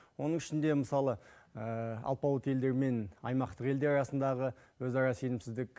оның ішінде мысалы алпауыт елдер мен аймақтық елдер арасындағы өзара сенімсіздік